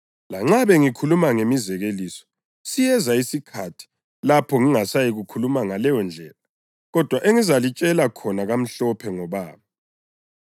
Lanxa bengikhuluma ngemizekeliso, siyeza isikhathi lapho ngingasayikukhuluma ngaleyondlela, kodwa engizalitshela khona kamhlophe ngoBaba.